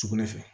Sugunɛ fɛ